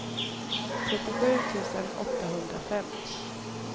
trettiosju tusen åttahundrafem